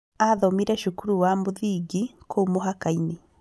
Aathomire cukuru wa mũthingi kũu mũhaka-inĩ